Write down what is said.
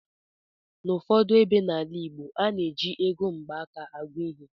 N'ụfọdụ ebe n'ala igbo, a na-eji ego mgbaaka agụ ihe